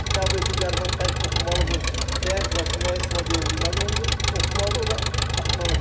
Qəbul etdiyi dərmanı tərkibini oxumalıdır, nəyə qarşı, nəyə istifadə edilməlidir, onu oxumalıdır, o da atmalıdır.